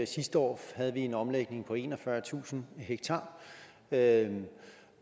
sidste år havde vi en omlægning på enogfyrretusind ha